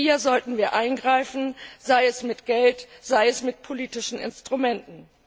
Hier sollten wir eingreifen, sei es mit Geld, sei es mit politischen Instrumenten.